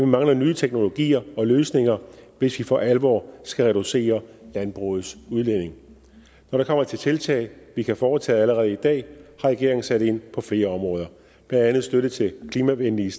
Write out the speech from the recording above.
mangler nye teknologier og løsninger hvis vi for alvor skal reducere landbrugets udledninger når det kommer til tiltag vi kan foretage allerede i dag har regeringen sat ind på flere områder blandt andet støtte til klimavenlige